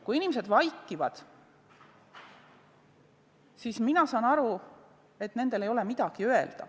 Kui inimesed vaikivad, siis mina saan aru nii, et neil ei ole midagi öelda.